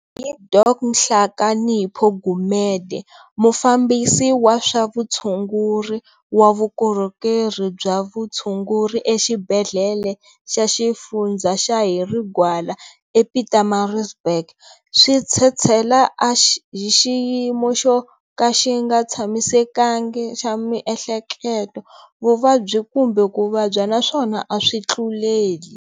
Ku ya hi Dok Nhlakanipho Gumede, Mufambisi wa swa Vutshunguri wa Vukorhokeri bya Vutshunguri eXibedlhele xa Xifundza xa Harry Gwala ePietermaritzburg, swi tshetshela a hi xiyimo xo ka xi nga tshamisekanga xa mieheleketo, vuvabyi kumbe ku vabya, naswona a swi tluleli.